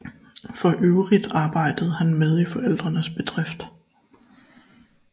For øvrigt arbejdede han med i forældrenes bedrift